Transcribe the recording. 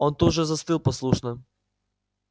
он тут же застыл послушно